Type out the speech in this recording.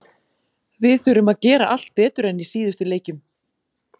Við þurfum að gera allt betur en í síðustu leikjum.